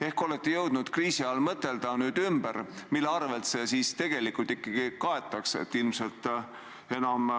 Ehk olete jõudnud kriisi ajal mõtelda ümber, mille arvel see siis tegelikult ikkagi kaetakse?